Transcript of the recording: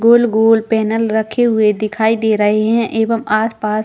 गोल- गोल पेनल रखे दिखाई दे रहे है एवं आसपास --